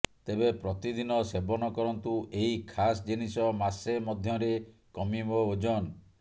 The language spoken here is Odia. ତେବେ ପ୍ରତିଦିନ ସେବନ କରନ୍ତୁ ଏହି ଖାସ୍ ଜିନିଷ ମାସେ ମଧ୍ୟରେ କମିବ ଓଜନ